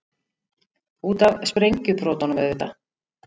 Út af sprengjubrotunum, auðvitað!